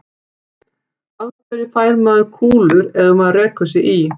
Af hverju fær maður kúlur ef maður rekur sig í?